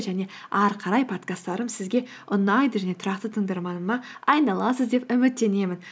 және ары қарай подкасттарым сізге ұнайды және тұрақты тыңдарманыма айналасыз деп үміттенемін